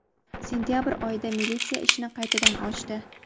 Sentabr oyida militsiya ishni qaytadan ochdi.